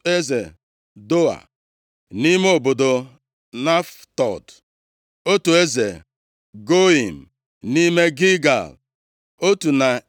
eze Doa, (nʼime obodo Naftod), otu eze Goiim, nʼime Gilgal, + 12:23 Ka o doo anyị anya nʼobodo Gilgal nke a, abụghị otu ihe ya na nke dị nso nʼobodo Jeriko. otu na